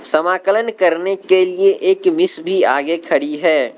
समाकलन करने के लिए एक मिस भी आगे खड़ी है।